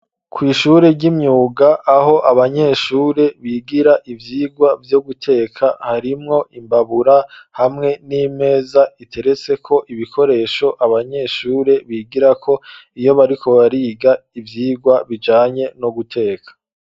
Kw'ishure ry'imyuga, aho abanyeshure bigira, ivyigwa vyo guteka, harimwo imbabura, hamwe n'imeza, iteretseko ibikoresho, abanyeshure bigirako, iyo bariko bariga, ivyigwa bijanye, no guteka.